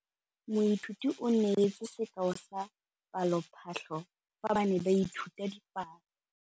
Moithuti o neetse sekaô sa palophatlo fa ba ne ba ithuta dipalo.